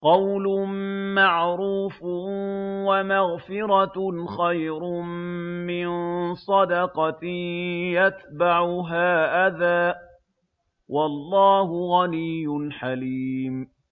۞ قَوْلٌ مَّعْرُوفٌ وَمَغْفِرَةٌ خَيْرٌ مِّن صَدَقَةٍ يَتْبَعُهَا أَذًى ۗ وَاللَّهُ غَنِيٌّ حَلِيمٌ